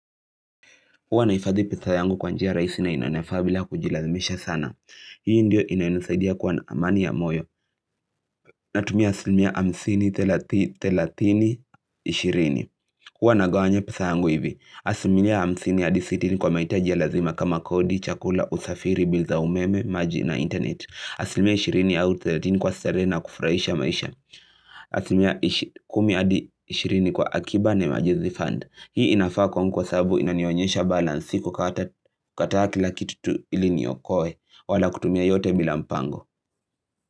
Huwa naifadhi pesa yangu kwa njia rahisi na inanifaa bila kujilazimisha sana. Hii ndio inayonisaidia kuwa na amani ya moyo. Natumia aslimia hamsini 30-30-20. Huwa nagawanya pesa yangu hivi. Aslimia hamsini hadi 60 kwa mahitaji ya lazima kama kodi, chakula, usafiri, bills za umeme, maji na internet. Aslimia 20-30 kwa starehe na kufurahisha maisha. Aslimia 10-20 kwa akiba na emergency fund. Hii inafaa kwangu kwa sababu inanionyesha balance si kukata kila kitu tu ili niokoe wala kutumia yote bila mpango.